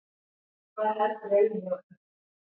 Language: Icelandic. Hvað heldurðu eiginlega um mig!